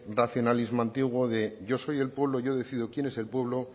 racionalismo antiguo de yo soy el pueblo yo decido quién es el pueblo